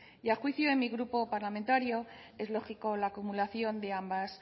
y a juicio de mi grupo parlamentario es lógico la acumulación de ambas